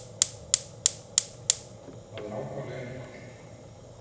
Það er ákaflega einfalt.